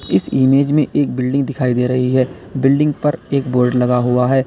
इस इमेज में एक बिल्डिंग दिखाई दे रही है बिल्डिंग पर एक बोर्ड लगा हुआ है।